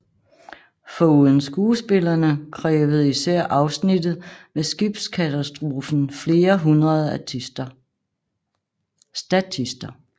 Foruden skuespillerne krævede især afsnittet med skibskatastrofen flere hundrede statister